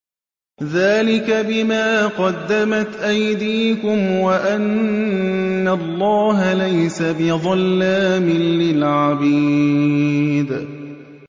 ذَٰلِكَ بِمَا قَدَّمَتْ أَيْدِيكُمْ وَأَنَّ اللَّهَ لَيْسَ بِظَلَّامٍ لِّلْعَبِيدِ